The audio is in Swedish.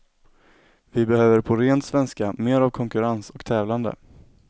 Vi behöver på ren svenska mer av konkurrens och tävlande.